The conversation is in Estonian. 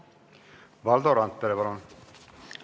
Valdo Randpere, palun!